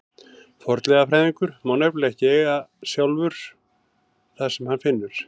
Fornleifafræðingur má nefnilega ekki sjálfur eiga það sem hann finnur.